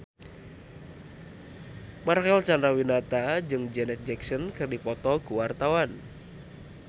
Marcel Chandrawinata jeung Janet Jackson keur dipoto ku wartawan